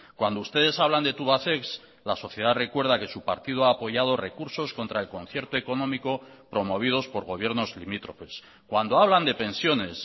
cuando ustedes hablan de tubacex la sociedad recuerda que su partido ha apoyado recursos contra el concierto económico promovidos por gobiernos limítrofes cuando hablan de pensiones